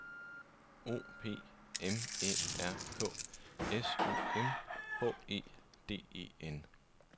O P M Æ R K S O M H E D E N